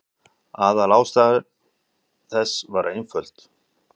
Aðalástæða þess var einföld.